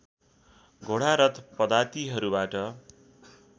घोडा रथ पदातिहरूबाट